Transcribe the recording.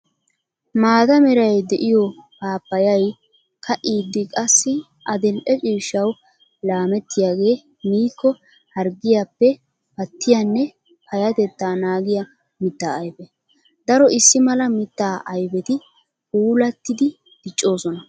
Maata meray de'iyo paappayay ka'iddi qassi adil'e ciishshawu laametiyaage miiko harggiyappe pattiyanne payatetta naagiya mita ayfe. Daro issi mala mita ayfetti puulatiddi diccosonna.